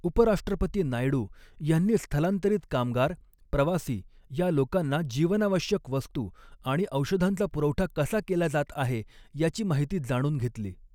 उपराष्ट्रपती नायडू यांनी स्थलांतरीत कामगार, प्रवासी, या लोकांना जीवनावश्यक वस्तू आणि औषधांचा पुरवठा कसा केला जात आहे, याची माहिती जाणून घेतली.